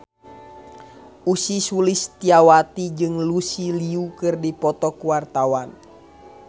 Ussy Sulistyawati jeung Lucy Liu keur dipoto ku wartawan